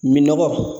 Minɔgɔ